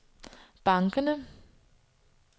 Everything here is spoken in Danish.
bankerne